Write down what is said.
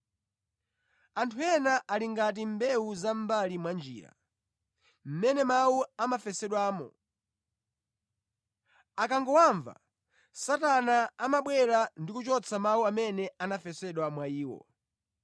Anthu ena ali ngati mbewu za mʼmbali mwa njira, mʼmene mawu amafesedwamo. Akangowamva, Satana amabwera ndi kuchotsa mawu amene anafesedwa mwa iwo.